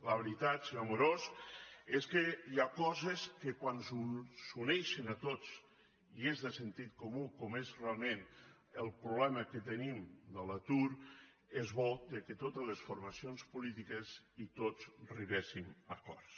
la veritat senyor amorós és que hi ha coses que quan ens uneixen a tots i és de sentit comú com és realment el problema que tenim de l’atur és bo que totes les formacions polítiques i tots arribem a acords